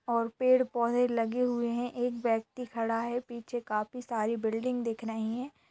और पेड़-पौधे लगे हुए हैं। एक व्यक्ति खड़ा है पीछे काफी सारी बिल्डिंग दिख रहीं है।